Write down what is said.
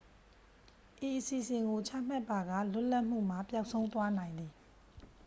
ဤအစီအစဉ်ကို ချမှတ်ပါက လွတ်လပ်မှုမှာ ပျောက်ဆုံးသွားနိုင်သည်